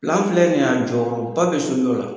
filɛ nin a jɔyɔrɔ ba bɛ sojɔ la.